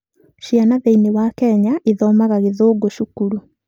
Ciana thĩinĩ wa Kenya ithoomaga Gĩthũngũ cukuru.